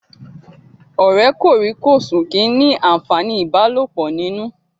Ọ̀rẹ́ kòríkòsùn kìí ní àǹfàní ìbálòpọ̀ nínú